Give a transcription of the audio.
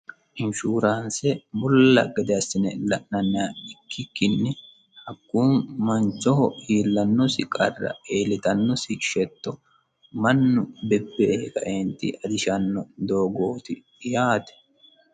inshuraanse mulla gede assine la'nanniha ikkikkinni hakkunni manchoho iillannosi qarra iillitannosi yetto mannu bebbeehe kae ajishanno doogooti yaate.